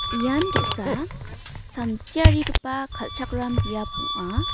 ian ge·sa samsiarigipa kal·chakram biap ong·a.